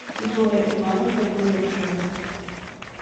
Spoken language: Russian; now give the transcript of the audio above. зоя ивановна гневушева